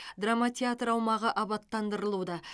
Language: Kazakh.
драма театр аумағы абаттандырылуда